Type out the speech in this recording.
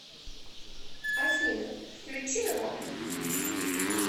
афина включи рок